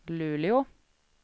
Luleå